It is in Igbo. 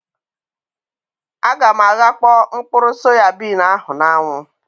A ga m aghakpo mkpụrụ soyabin ahụ na-anwu